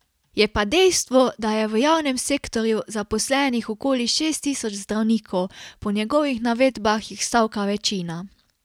Je pa dejstvo, da je v javnem sektorju zaposlenih okoli šest tisoč zdravnikov, po njegovih navedbah jih stavka večina.